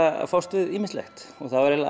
að fást við ýmislegt og það er